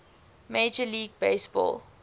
major league baseball